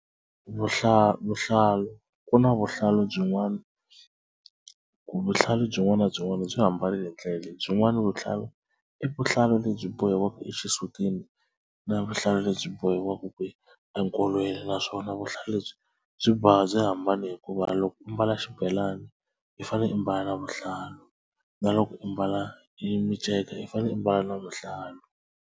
Vuhlalu vuhlalu ku na vuhlalu byin'wana byin'wana na byin'wana byi hambanile hi ndlela leyi byin'wani vuhlalu i vuhlalu lebyi bohiwaka exisutini na vuhlalu lebyi bohiwaka enkolweni naswona vuhlalu lebyi byi byi hambane hikuva loko u ambala xibelani i fanele i mbala na vuhlalu na loko u mbala yi miceka i fane i mbala na vuhlalu.